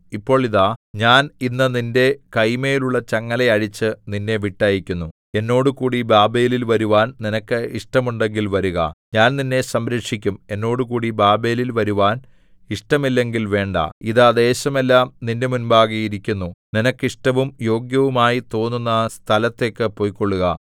ഇപ്പോൾ ഇതാ ഞാൻ ഇന്ന് നിന്റെ കൈമേലുള്ള ചങ്ങല അഴിച്ച് നിന്നെ വിട്ടയക്കുന്നു എന്നോട് കൂടി ബാബേലിൽ വരുവാൻ നിനക്ക് ഇഷ്ടമുണ്ടെങ്കിൽ വരുക ഞാൻ നിന്നെ സംരക്ഷിക്കും എന്നോടുകൂടി ബാബേലിൽ വരുവാൻ ഇഷ്ടമില്ലെങ്കിൽ വേണ്ട ഇതാ ദേശമെല്ലാം നിന്റെ മുമ്പാകെ ഇരിക്കുന്നു നിനക്ക് ഇഷ്ടവും യോഗ്യവുമായി തോന്നുന്ന സ്ഥലത്തേക്ക് പൊയ്ക്കൊള്ളുക